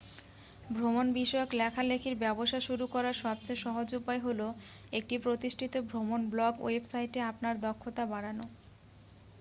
ভ্রমণ বিষয়ক লেখালেখির ব্যবসা শুরু করার সবচেয়ে সহজ উপায় হল একটি প্রতিষ্ঠিত ভ্রমণ ব্লগ ওয়েবসাইটে আপনার দক্ষতা বাড়ানো